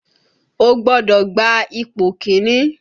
O gbọ́dọ̀ gba ipò kìíní!